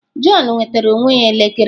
Jọn nwetara onwe ya elekere.